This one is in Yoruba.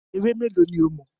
Ewé mélòó ní o mọ̀?